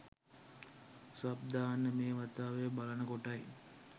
Sub දාන්න මේ වතාවේ බලනකොටයි.